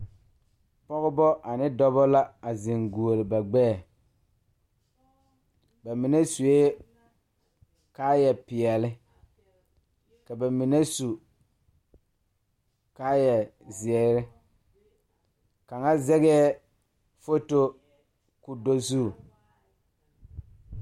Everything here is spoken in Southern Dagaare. Pɔgebɔ ane dɔbɔ la a zeŋ guoli ba gbɛɛ ba mine suee kaayɛ peɛle ka ba mine su kaayɛ zeere kaŋa zɛgɛɛ foto ko do zu.